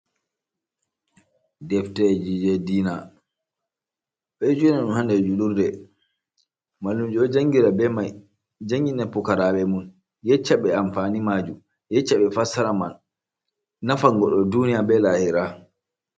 Defteji je dina ɓeɗo joina ɗum ha nder julurɗe, malumjo ɗo jangira be man jangina fukarabe mun yaccabe ɓe amfani majum, yacca ɓe fasara man, nafan goɗɗo duniya bei lahira.